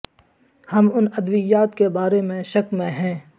ہم ان ادویات کے بارے میں شک میں ہیں